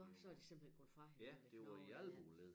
Nåh så er de simpelthen gået fra hinanden æ knogler ja